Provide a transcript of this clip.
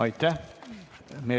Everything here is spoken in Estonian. Aitäh!